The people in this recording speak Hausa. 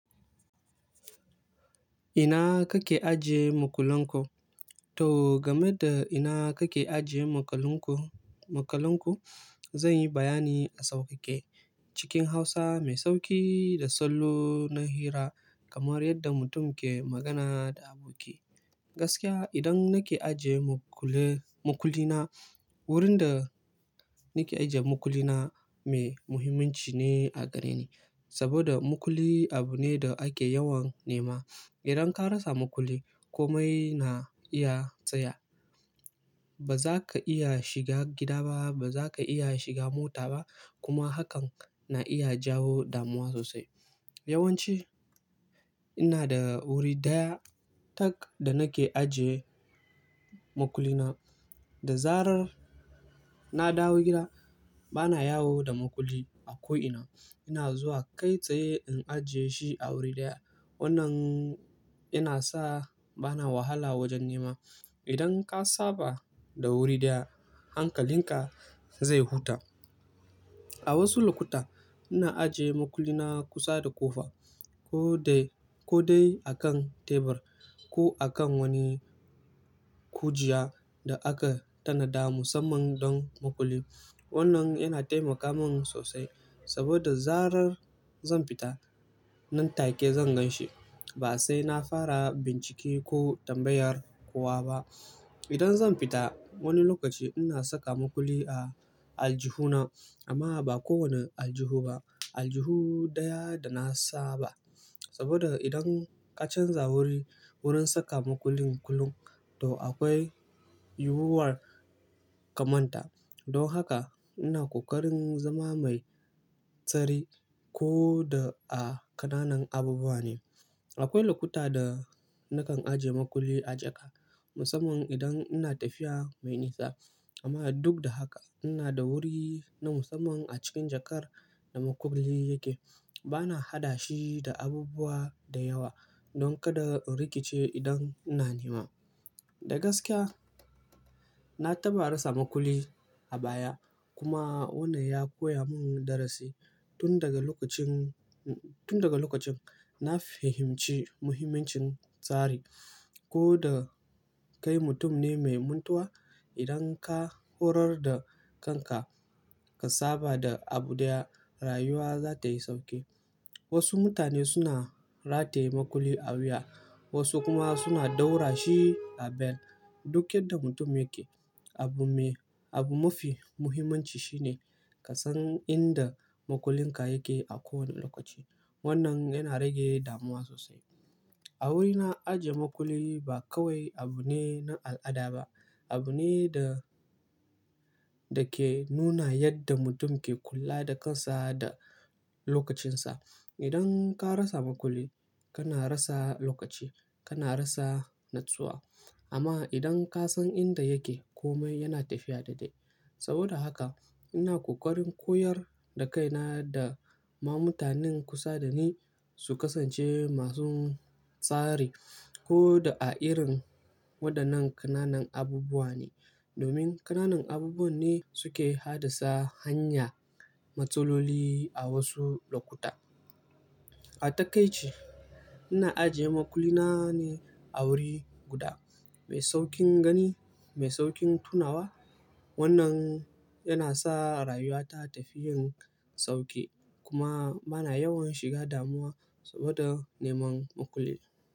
Ina kake ajiye makullin ku? To game da ina kake ajiye makalinku-makalin ku, zan yi bayani a sauƙaƙe. Cikin Hausa mai sauƙi da sallo na hira kamar yadda mutum ke magana da aboki. Gaskiya idan nake ajiye mukule-makullina, wurin da nake ajiye makullina mai muhimmanci ne a gare ni. Saboda makulli abu ne da ake yawan nema. Idan ka rasa makulli, komai na iya tsaya. Ba za ka iya shiga gida ba, ba za ka iya shiga mota ba kuma hakan na iya jawo damuwa sosai. Yawan ci ina da wuri ɗaya tak da nake ajiye makullina. Da zarar na dawo gida, ba na yawo da makulli a ko'ina. Ina zuwa kai tsaye in ajiye shi a wuri ɗaya. Wannan yana sa ba na wahala wajen nema. Idan ka saba da wuri ɗaya, hankalin ka zai huta. A wasu lokuta ina ajiye makulli na kusa da kofa, ko dai, ko dai akan tebur ko akan wani kujiya da aka tanada musamman don makulli. Wannan yana taimaka min sosai saboda zarar zan fita nan take zan gan shi. Ba sai na fara bincike ko tambayar kowa ba. Idan zan fita wani lokaci ina saka makulli a aljihu na. Amma ba kowane aljihu ba, aljihu ɗaya da na saba. Saboda idan ka canza wuri, wurin saka makullin kulun, to akwai yiwuwar ka manta. Don haka ina ƙoƙarin zama mai tsari ko da a ƙananan abubuwa ne. Akwai lokuta da nakan ajiye makulli a jaka musamman idan ina tafiya mai nisa. Amma duk da haka ina da wuri na musamman a cikin jakar da makulli yake. Ba na haɗa shi da abubuwa da yawa don kada in rikice idan ina nema. Da gaskiya, na taɓa rasa makulli a baya kuma wannan ya koya mun darasi. Tun daga lokacin, tun daga lokacin na fahimci muhimmancin tsari. Ko da kai mutum ne mai muntuwa, idan ka horar da kanka ka saba da abu ɗaya, rayuwa za ta yi sauƙi. Wasu mutane suna rataye makulli a wuya, wasu kuma suna ɗaura shi a bel. Duk yadda mutum yake, abu mai, abu mafi muhimmanci shine ka san inda makullin ka yake a kowane lokaci. Wannan yana rage damuwa sosai. A wurina ajiye makulli ba kawai abu ne na al'ada ba, abu ne da, da ke nuna yadda mutum ke kula da kansa da lokacinsa. Idan ka rasa makulli, kana rasa lokaci, kana rasa natsuwa. Amma idan ka san inda yake komai yana tafiya daidai. Saboda haka ina ƙoƙarin koyar da kaina da ma mutanen kusa da ni su kasance masu tsari ko da a irin waɗannan ƙananan abubuwa ne. Domin ƙananan abubuwan ne suke haddasa hanya matsaloli a wasu lokuta. A takaice ina ajiye makulli na ne a wuri guda mai sauƙin gani, mai sauƙin tunawa. Wannan yana sa rayuwata ta fi yin sauƙi kuma bana yawan shiga damuwa saboda neman makulli.